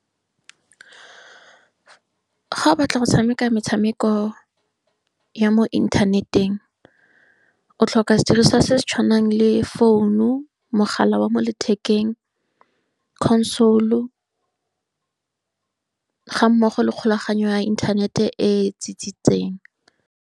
Ga o batla go tshameka metshameko ya mo inthaneteng, o tlhoka sediriswa se se tshwanang le founu, mogala wa mo lethekeng, console-u, ga mmogo le kgolaganyo ya internet-e e tsitsitseng.